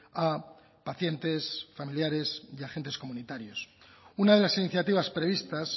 a pacientes familiares y agentes comunitarios una de las iniciativas previstas